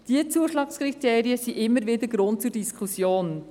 Die Zuschlagskriterien geben immer wieder Anlass zu Diskussionen.